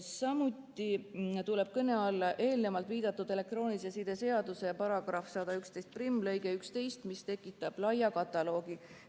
Samuti tuleb kõne alla eelnevalt viidatud elektroonilise side seaduse § 1111 lõige 11, mis tekitab laia kataloogi.